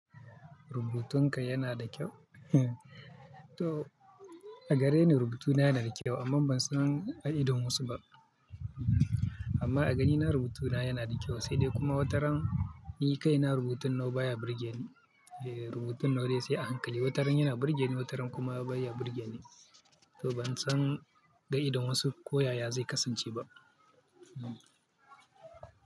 Rubutunka yana da kyau? To a gare ni rubutuna yana da kyau amma ban san ga idon wasu ba. Amma a ganina rubutuna yana da kyau sai dai kuma wataran ni kai na rubutun nawa baya burge ni. Rubutun nawa dai sai a hankali wataran yana burge ni wataran kuma baya burge ni. To ban san ga idon wasu ko yaya zai kasance ba.